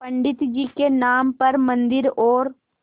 पंडित जी के नाम पर मन्दिर और